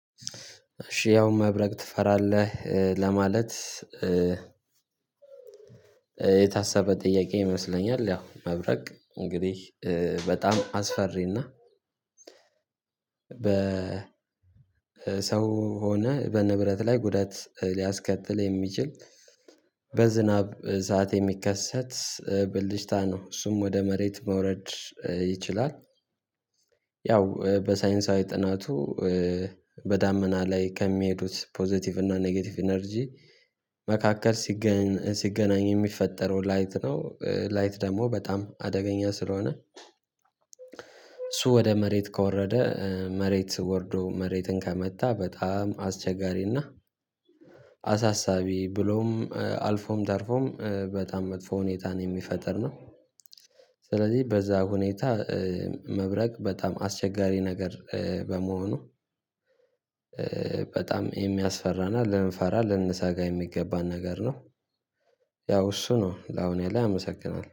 እሺ ያው መብረቅ ትፈራለህ ለማለት? የታሰበ ጥያቄ ይመስለኛል። ያው መብረቅ እንግዲህ በጣም አስፈሪና። በሰው ሆነህ በንብረት ላይ ጉዳት ሊያስከትል የሚችል በዝናብ ሰዓት የሚከሰት ብልጭታ ነው እሱም ወደ መሬት መውረድ ይችላል፤። ያው በሳይንሳዊ ጥናቱ በዳመና ላይ ከሚሄዱት ፖዘቲቭ እና ኔጌቲቭ ኢነርጂ መካከል ሲገናኝ የሚፈጠረው ላይት ነው ላይት ደግሞ በጣም አደገኛ ስለሆነ። እሱ ወደ መሬት ከወረደ መሬት ወርዶ መሬትን ከመታ በጣም አስቸጋሪና አሳሳቢ ብሎም አልፎም ተርፎም በጣም መጥፎ ሁኔታን የሚፈጥር ነው። ስለዚህ በዛ ሁኔታ መብረቅ በጣም አስቸጋሪ ነገር በመሆኑ በጣም የሚያስፈራና ልንፈራ ልንሰጋ የሚገባን ነገር ነው። ያው እሱ ነው ለአሁን ያለ አመሰግናለሁ